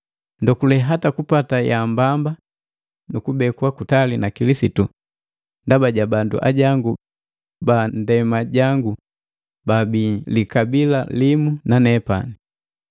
Nndokule hata kupata yaambamba nukubekwa kutali na Kilisitu ndaba ja bandu ajangu ba ndema jangu baabi likabila limu na nepani.